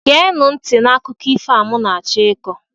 geenụ nti akụkọ ifo a m na-achọ ịkọ